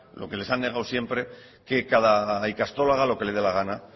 lo que les han negado siempre que cada ikastola haga lo que le dé la gana